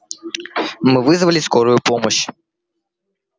мы вызвали скорую помощь